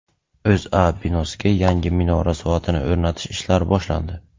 O‘zA binosiga yangi minora soatini o‘rnatish ishlari boshlandi.